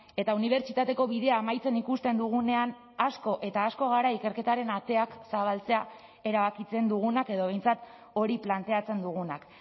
eta unibertsitateko bidea amaitzen ikusten dugunean asko eta asko gara ikerketaren ateak zabaltzea erabakitzen dugunak edo behintzat hori planteatzen dugunak